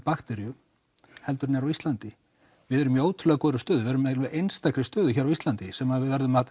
bakteríu heldur en er á Íslandi við erum í ótrúlega góðri stöðu við erum í einstakri stöðu eiginlega hér á Íslandi sem við verðum að